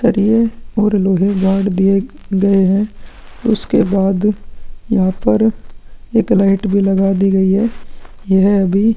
तरिये और लोहे गाड़ दिए गए हैं उसके बाद यहाँ पर एक लाइट भी लगा दी गई है यह अभी--